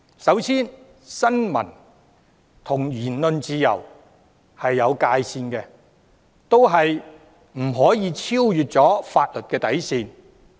首先，新聞自由與言論自由是有界線的，也不可超越法律的底線。